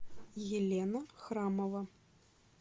елена храмова